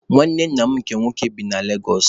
Nwanne nna m nke nwoke bi na Legosụ.